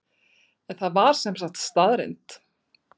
En það var sem sagt staðreynd?